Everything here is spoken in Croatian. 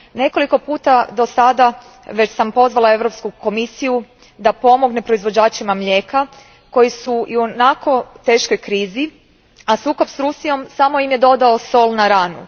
Dosad sam već nekoliko puta pozvala Europsku komisiju da pomogne proizvođačima mlijeka koji su ionako u teškoj krizi, a sukob s Rusijom samo im je dodao sol na ranu.